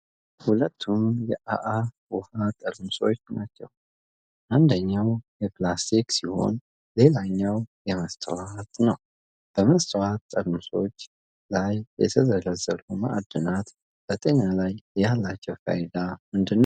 ሁለቱም የ"አ-አ" ውሃ ጠርሙሶች ናቸው። አንደኛው የፕላስቲክ ሲሆን ሌላኛው የመስታወት ነው። በመስታወት ጠርሙሱ ላይ የተዘረዘሩት ማዕድናት በጤና ላይ ያላቸው ፋይዳ ምንድን ነው?